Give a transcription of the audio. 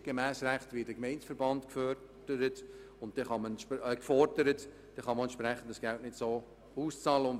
Gemäss geltendem Recht wird der Gemeindeverband gefordert, weshalb das Geld nicht entsprechend ausbezahlt werden kann.